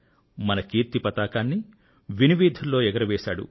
మన కీర్తి పతాకాన్ని వినువీధిలో ఎగురవేశాడు